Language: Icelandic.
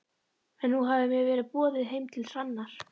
En nú hafði mér verið boðið heim til Hrannar.